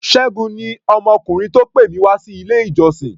Ṣẹ́gun ni ọmọkùnrin tó pè mí wá sí ilé-ìjọsìn.